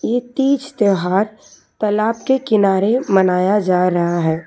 ये तीज त्योहार तालाब के किनारे मनाया जा रहा है।